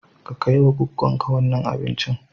Ka kai wa goggon ka wannan abincin.